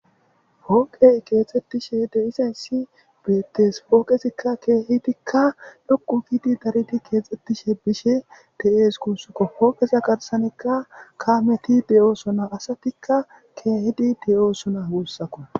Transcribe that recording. Pooqey keexxettishe de isensi beettees pooqesikka keehitikka lokku giidi dariti keexxettishe bishe teees kussukko pooqa garsanikka kameti de'oosona asatikka keehidi de'osona guussaku